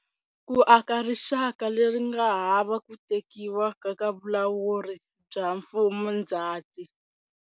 Ku aka rixaka leri nga hava ku Tekiwa ka Vulawuri bya MfumoNdzati.